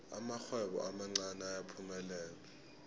amarhwebo amancani ayaphumelela